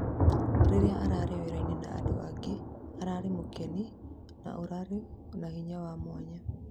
Rĩrĩa ararĩ wĩra-ini na andũ angĩ, ararĩ mũkeni na ũrari na hinya wa mwanya.